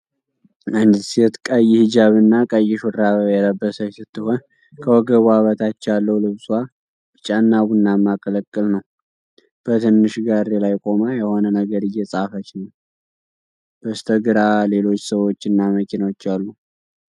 አንዲት ሴት ቀይ ሂጃብ እና ቀይ ሹራብ የለበሰች ስትሆን፣ ከወገቧ በታች ያለው ልብሷ ቢጫና ቡናማ ቅልቅል ነው። በትንሽ ጋሪ ላይ ቆማ የሆነ ነገር እየጻፈች ነው። በስተግራ ሌሎች ሰዎች እና መኪናዎች አሉ።